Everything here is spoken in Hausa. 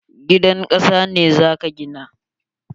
Gidan kasa ne za ka gina?